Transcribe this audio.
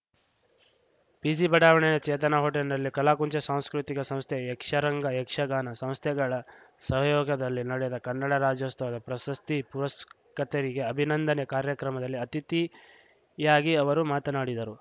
PG ಬಡಾವಣೆಯ ಚೇತನಾ ಹೋಟೆಲ್‌ನಲ್ಲಿ ಕಲಾಕುಂಚ ಸಾಂಸ್ಕೃತಿಕ ಸಂಸ್ಥೆ ಯಕ್ಷರಂಗಯಕ್ಷಗಾನ ಸಂಸ್ಥೆಗಳ ಸಹಯೋಗದಲ್ಲಿ ನಡೆದ ಕನ್ನಡ ರಾಜ್ಯೋಸ್ತವ ಪ್ರಶಸ್ತಿ ಪುರಸ್ಕತರಿಗೆ ಅಭಿನಂದನೆ ಕಾರ್ಯಕ್ರಮದಲ್ಲಿ ಅತಿಥಿಯಾಗಿ ಅವರು ಮಾತನಾಡಿದರು